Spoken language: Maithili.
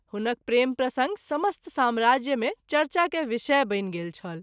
हुनक प्रेम प्रसंग समस्त सम्राज्य मे चर्चा के विषय बनि गेल छल।